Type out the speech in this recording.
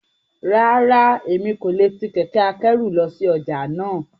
Rárá, Emi ko le ti kẹkẹ-akẹru lọ si ọja náa.